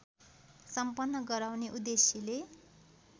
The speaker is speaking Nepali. सम्पन्न गराउने उद्देश्यले